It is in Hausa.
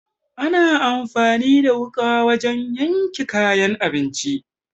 Ana anfani da wuƙa wajen yanka kayan abinci.